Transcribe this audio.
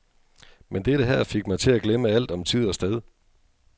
Men dette her fik mig til at glemme alt om tid og sted.